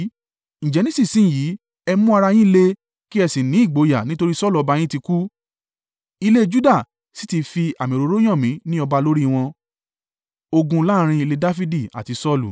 Ǹjẹ́ nísinsin yìí, ẹ mú ara yín le, kí ẹ sì ní ìgboyà, nítorí Saulu ọba yín ti kú, ilé Juda sì ti fi àmì òróró yàn mí ní ọba lórí wọn.”